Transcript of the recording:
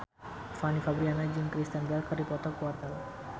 Fanny Fabriana jeung Kristen Bell keur dipoto ku wartawan